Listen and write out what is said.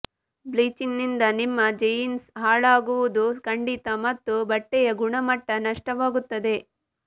ಬ್ಲೀಚ್ನಿಂದ ನಿಮ್ಮ ಜೀನ್ಸ್ ಹಾಳಾಗುವುದು ಖಂಡಿತ ಮತ್ತು ಬಟ್ಟೆಯ ಗುಣಮಟ್ಟ ನಷ್ಟವಾಗುತ್ತದೆ